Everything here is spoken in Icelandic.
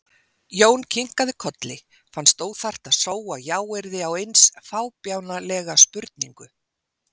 Jón kinkaði kolli, fannst óþarft að sóa jáyrði á eins fábjánalega spurningu.